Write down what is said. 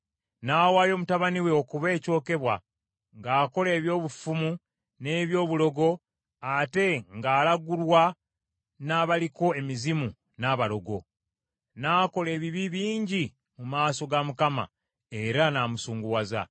N’awaayo mutabani we okuba ekyokebwa, ng’akola eby’obufumu n’eby’obulogo, ate ng’alagulwa n’abaliko emizimu, n’abalogo. N’akola ebibi bingi mu maaso ga Mukama , era n’amusunguwaza.